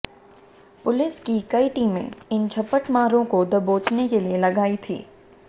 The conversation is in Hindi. पुलिस की कई टीमें इन झपटमारों को दबोचने के लिए लगाई थी